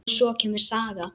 Og svo kemur saga: